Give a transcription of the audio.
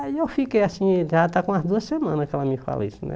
Aí eu fiquei assim, já está com umas duas semanas que ela me fala isso, né?